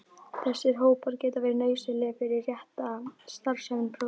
Þessir hópar geta verið nauðsynlegir fyrir rétta starfsemi prótíns.